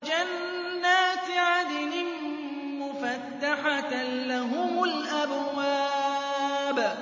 جَنَّاتِ عَدْنٍ مُّفَتَّحَةً لَّهُمُ الْأَبْوَابُ